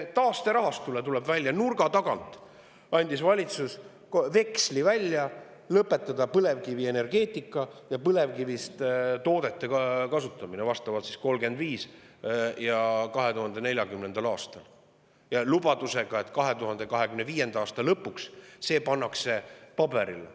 Taasterahastu puhul, tuleb välja, andis valitsus nurga tagant välja veksli, et lõpetada põlevkivienergeetika ja põlevkivist toodete kasutamine vastavalt 2035. ja 2040. aastal, lubadusega, et 2025. aasta lõpuks pannakse see ka paberile.